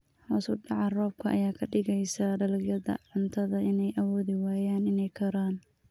Hoos u dhaca roobka ayaa ka dhigaysa dalagyada cuntada inay awoodi waayaan inay koraan.